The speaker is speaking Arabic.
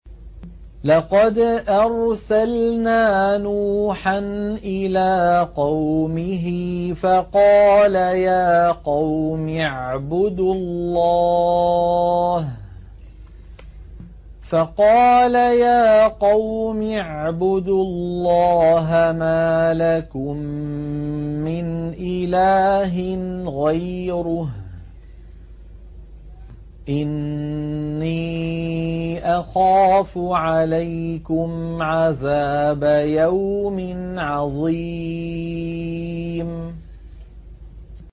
لَقَدْ أَرْسَلْنَا نُوحًا إِلَىٰ قَوْمِهِ فَقَالَ يَا قَوْمِ اعْبُدُوا اللَّهَ مَا لَكُم مِّنْ إِلَٰهٍ غَيْرُهُ إِنِّي أَخَافُ عَلَيْكُمْ عَذَابَ يَوْمٍ عَظِيمٍ